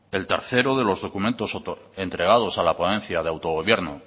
el tercero de los documentos entregados a la ponencia de autogobierno